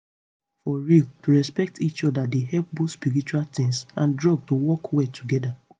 for real to respect each oda dey help both spiritual tins and drugs to work well together